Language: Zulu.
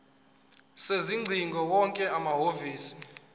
sezingcingo wonke amahhovisi